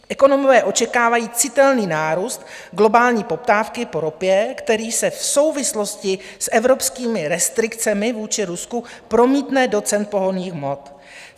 Ekonomové očekávají citelný nárůst globální poptávky po ropě, který se v souvislosti s evropskými restrikcemi vůči Rusku promítne do cen pohonných hmot.